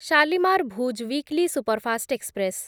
Shalimar Bhuj weekly superfast express